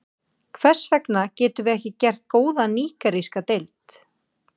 Hvers vegna getum við ekki gert góða nígeríska deild?